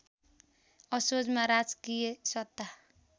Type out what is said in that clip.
असोजमा राजकीय सत्ता